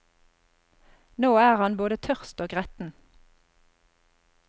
Nå er han både tørst og gretten.